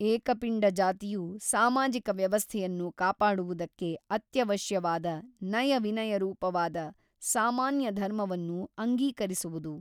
ಏಕಪಿಂಡ ಜಾತಿಯು ಸಾಮಾಜಿಕ ವ್ಯವಸ್ಥೆಯನ್ನು ಕಾಪಾಡುವುದಕ್ಕೆ ಅತ್ಯವಶ್ಯವಾದ ನಯ ವಿನಯರೂಪವಾದ ಸಾಮಾನ್ಯ ಧರ್ಮವನ್ನು ಅಂಗೀಕರಿಸುವುದು.